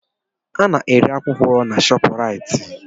Ana-ere akwụkwọ na Shọpraịt.